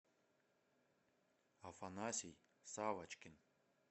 афанасий савочкин